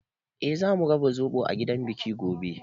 Eh, zamu raba zoɓo a gidan biki gobe.